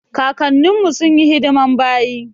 kakanin mu sunyi hidiman bayi.